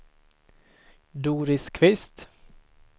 Doris Kvist